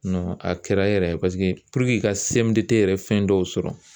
a kɛra yɛrɛ i ka yɛrɛ fɛn dɔw sɔrɔ